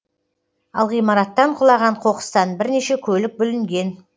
ал ғимараттан құлаған қоқыстан бірнеше көлік бүлінген